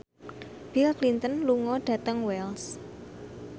Bill Clinton lunga dhateng Wells